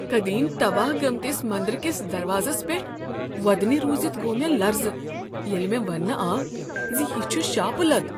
قدیم تباہ گٔمتِس مندر كِس دروازس پٮ۪ٹھ وۄدنی روٗزِتھ گوٚو مےٚ لرزٕ ییٚلہ مےٚ ونٛنہٕ آو ز یہ چھُ شاپہٕ لد۔